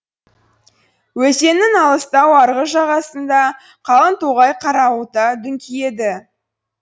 өзеннің алыстау арғы жағасында қалың тоғай қарауыта дүңкиеді